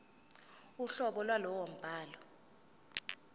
uhlobo lwalowo mbhalo